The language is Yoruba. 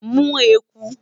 mu eku